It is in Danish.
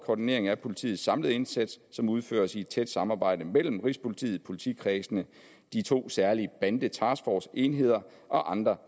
koordinering af politiets samlede indsats som udføres i tæt samarbejde mellem rigspolitiet politikredsene de to særlige bandetaskforce enheder og andre